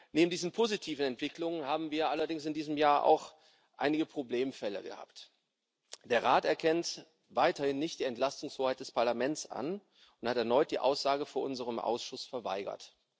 Neben diesen positiven Entwicklungen haben wir allerdings in diesem Jahr auch einige Problemfälle gehabt Der Rat erkennt weiterhin nicht die Entlastungshoheit des Parlaments an und hat erneut die Aussage vor unserem Ausschuss verweigert.